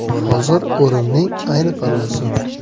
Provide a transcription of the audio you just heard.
Hozir o‘rimning ayni pallasi.